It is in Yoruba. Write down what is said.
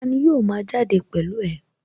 Tani yóò ma jáde pẹ̀lú ẹ?